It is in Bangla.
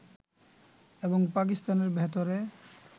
এবং পাকিস্তানের ভেতরে